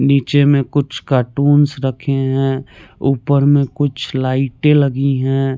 नीचे में कुछ कार्टून्स रखे हैं ऊपर में कुछ लाइटें लगी हैं।